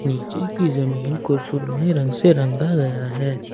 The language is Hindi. नीचे की जमीन को सुरमई रंग से रंगा गया है।